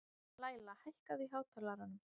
Læla, hækkaðu í hátalaranum.